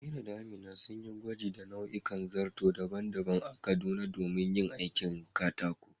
Amira da Amina sun yi gwaji da nau'ikan zarto daban-daban a Kaduna domin yin aikin katako.